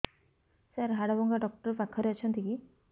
ସାର ହାଡଭଙ୍ଗା ଡକ୍ଟର ପାଖରେ ଅଛନ୍ତି କି